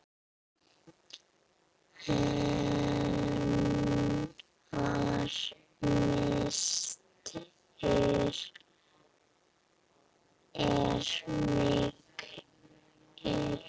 Hennar missir er mikill.